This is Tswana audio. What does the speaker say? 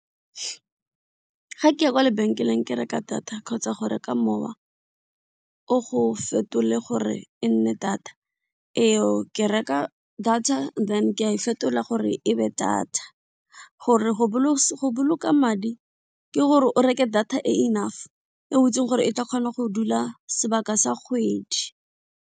Ga ke ya kwa lebenkeleng ke reka data kgotsa go reka mowa o go fetole gore e nne data eo ke reka data then ke a e fetola gore ebe data gore go boloka madi ke gore o reke data e enough e o itsing gore e tla kgona go dula sebaka sa kgwedi.